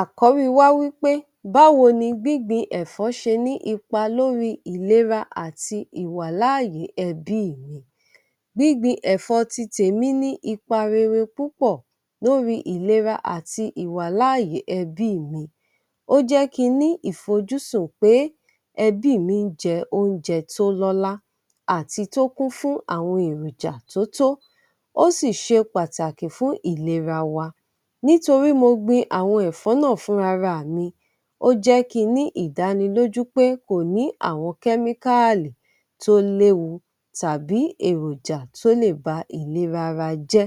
Àkọ́rí wa wí pé báwo ni gbígbin ẹ̀fọ́ ṣe ní ipa lórí ìlera àti ìwàláàyé ẹbí mi. Gbígbin ẹ̀fọ́ ti tèmi ní ipa rere púpọ̀ lórí ìlera àti ìwàláàyé ẹbí mi. Ó jẹ́ kí n ní ìfojúsùn pé ẹbí mi ń jẹ oúnjẹ tó lọ́lá àti tó kún fún àwọn èròjà tó tó, ó sì ṣe pàtàkì fún ìlera wa. Nítorí mo gbin àwọn ẹ̀fọ́ náà fúnra ra mi, ó jẹ́ kí n ní ìdánilójú pé kò ní àwọn kẹ́míkáàlì tó léwu tàbí èròjà tó lè ba ìlera ara jẹ́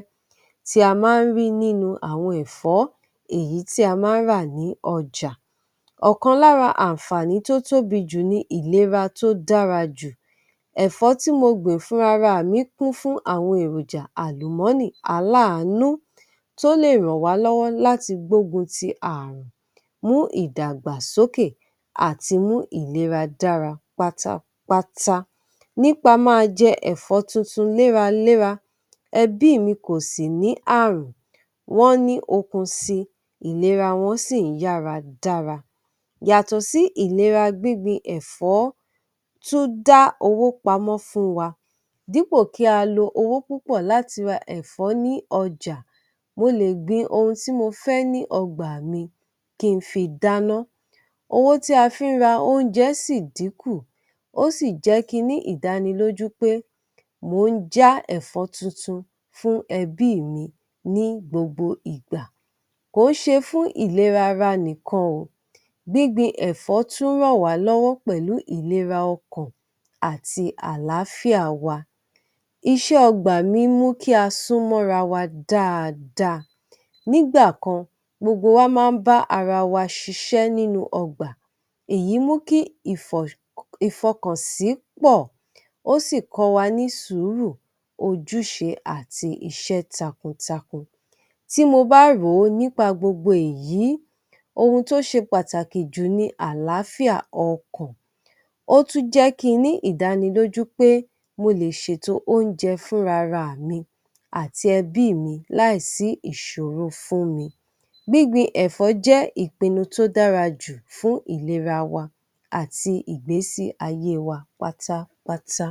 tí a máa ń rí nínú àwọn ẹ̀fọ́ èyí tí a máa ń rà ní ọjà. Ọ̀kan lára àǹfààní tó tóbi jù ni ìlera tó dára jù. Ẹ̀fó tí mo gbìn fúnra ra mi kún fún àwọn èròjà àlùmọ́nì aláàánú tó lè ràn wá lọ́wọ́ láti gbógun ti ààrùn, mú ìdàgbàsókè àti mú ìlera dára pátápátá. Nípa máa jẹ ẹ̀fọ́ tuntun léraléra, ẹbí mi kò sì ní ààrùn, wọ́n ní okun si, ìlera wọn sì ń yára dára. Yàtọ̀ sí ìlera, gbígbin ẹ̀fọ́ tún dá owó pamọ́ fún wa. Dípò kí a lo owó púpọ̀ láti ra ẹ̀fọ́ ní ọjà, mo lè gbin ohun tí mo fẹ́ ní ọgbà mi kí n fi dáná, owó tí a fi ń ra oúnjẹ sì dínkù, ó sì jẹ́ kí n ní ìdánilójú pé mò ń já ẹ̀fọ́ tuntun fún ẹbí mi ní gbogbo ìgbà. Kò ń ṣe fún ìlera ara nìkan o, gbígbin ẹ̀fọ́ tún ràn wá lọ́wọ́ pẹ̀lú ìlera ọkàn àti àlàáfíà wa. Iṣẹ́ ọgbà mi mú kí a súnmọ́ ra wa dáadáa. Nígbà kan, gbogbo wa máa ń bá ara wa ṣiṣẹ́ nínú ọgbà, èyí mú kí ìfọkànsí pọ̀, ó sì kọ́ wa ní sùúrù, ojúṣe àti iṣẹ́ takuntakun. Tí mo bá rò ó nípa gbogbo èyí, ohun tó ṣe pàtàkì jù ni àlàáfíà ọkàn, ó tún jẹ́ kí n ní ìdánilójú pé mo lè ṣètò oúnjẹ fúnra ra mi àti ẹbí mi láì sí ìṣòro fún mi. Gbígbin ẹ̀fọ́ jẹ́ ìpinnu tó dára jù fún ìlera wa àti ìgbésí ayé wa pátápátá.